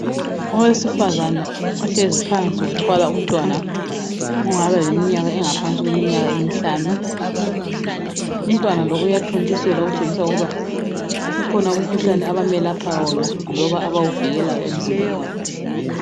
Owesifazana ohlezi phansi wathwala umntwana ongaba leminyaka engaphansi kweminyaka emihlanu umntwana lo uyathontiselwa okutshengisa ukuba kukhona umkhuhlane abamelapha wona loba abawuvikelayo emzimbeni wakhe.